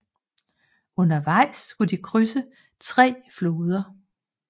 Undervejs skulle de krydse tre floder